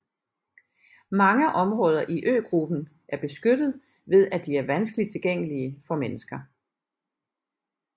Mange områder i øgruppen er beskyttet ved at de er vanskelig tilgængelig for mennesker